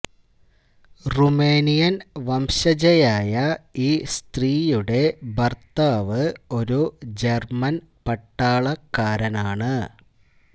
Romanian വംശജയായ ഈ സ്ത്രീയുടെ ഭർത്താവ് ഒരു ജർമൻ പട്ടാളക്കാരനാണ്